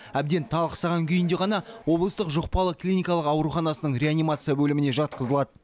әбден талықсыған күйінде ғана облыстық жұқпалы клиникалық ауруханасының реанимация бөліміне жатқызылады